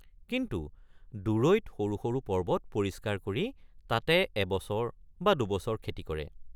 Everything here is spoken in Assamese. কিছু দূৰৈত সৰু সৰু পৰ্বত পৰিষ্কাৰ কৰি তাতে এবছৰ বা দুবছৰ খেতি কৰে।